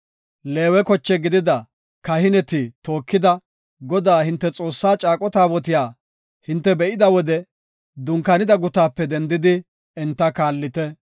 “Leewe koche gidida kahineti tookida, Godaa, hinte Xoossaa caaqo taabotiya hinte be7ida wode dunkaanida gutaape dendidi enta kaallite.